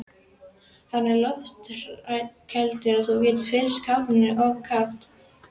Hann er loftkældur og þú getur fyllt kæliskápinn af kók.